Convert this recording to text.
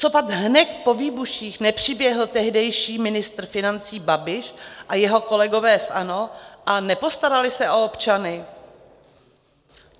Copak hned po výbuších nepřiběhl tehdejší ministr financí Babiš a jeho kolegové z ANO a nepostarali se o občany?